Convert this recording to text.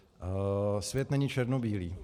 Svět není černobílý.